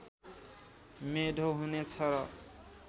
मेढो हुनेछ र